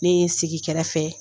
Ne ye n sigi kɛrɛfɛ.